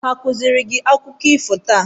Ha a kụziiri gị akụkọ ifo taa?